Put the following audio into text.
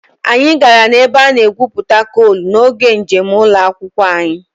Anyị gara ebe a na-egwupụta coal n'oge njem ụlọ akwụkwọ anyị